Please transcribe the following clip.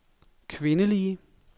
kvindelige